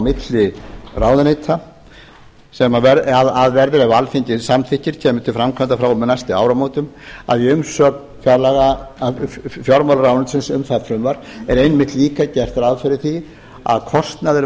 milli ráðuneyta sem verður ef alþingi samþykkir kemur til framkvæmda frá og með næstu áramótum að í umsögn fjármálaráðuneytisins um það frumvarp er einmitt líka gert ráð fyrir því að kostnaður